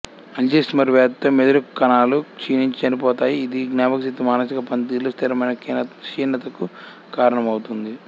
Alzheimer's వ్యాధిలో మెదడు కణాలు క్షీణించి చనిపోతాయి ఇది జ్ఞాపకశక్తి మానసిక పనితీరులో స్థిరమైన క్షీణతకు కారణమవుతుంది